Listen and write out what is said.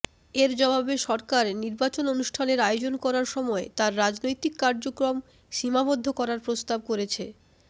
এর জবাবে সরকার নির্বাচন অনুষ্ঠানের আয়োজন করার সময় তার রাজনৈতিক কার্যক্রম সীমাবদ্ধ করার প্রস্তাব করেছে